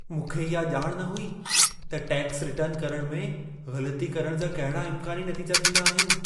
मूंखे इहा ॼाण न हुई त टैक्स रिटर्न में ग़लती करणु जा कहिड़ा इम्कानी नतीजा थींदा आहिनि।